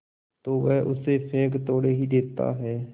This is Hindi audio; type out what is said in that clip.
तो वह उसे फेंक थोड़े ही देता है